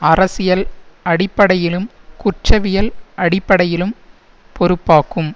அரசியல் அடிப்படையிலும் குற்றவியல் அடிப்படையிலும் பொறுப்பாக்கும்